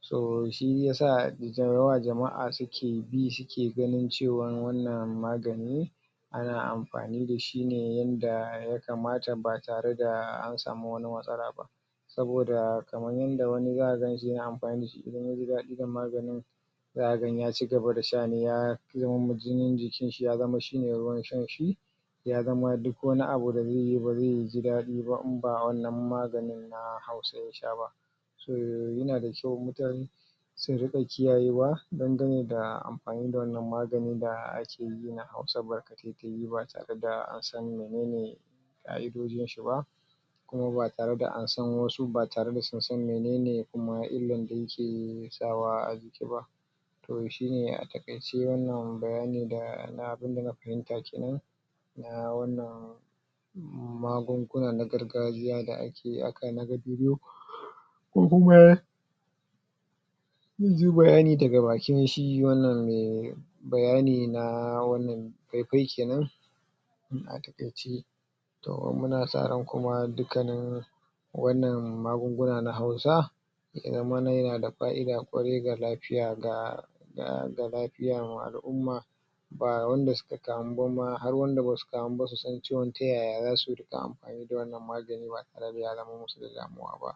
so shiyasa dayawa jama'a suke ganin cewan wannan magani ana amfani dashi ne yanda ya kamata, ba tare da an samu wani matsala ba. Saboda kaman yanda wani za ka ganshi ya na amfani irin maganin, za ka ga ya cigaba da sha ne ya ya hau jinin jikin shi ya zama shine ruwan shan shi, ya zama duk wani abu da zai yi ba ba zai jidadi ba in ba wannan maganin ba na Hausa ya sha ba. Toh ya na da kyau mutane su ringa kiyaye wa dangane da amfani da wannan magani da ake yi na Hausa ba tare da an san menene Ƙa'idojin shi ba, kuma ba tare da an san wasu ba tare da sun san menene kuma illan da yake sawa a jiki ba. Toh shine a taƙaice wannan bayani da na abun da na fahimta kenan na wannan magugunan na gargajiya da ake na ga bidiyo ko kuma munji bayani daga bakin shi wannan mai bayani na wannan fai-fai kenan. In a taƙaice toh muna sa ran kuma dukkanin wannan magungunan na Hausa kenan ma ya na da fa'ida ƙwarai ga lafiya ga ga lafiya ma al'umma ba wanda suka kamu ma ba har wanda basu su san cewan ta yaya za su amfani da wannan magani ya zama musu da damuwa.